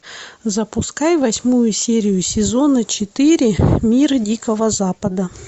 запускай восьмую серию сезона четыре мир дикого запада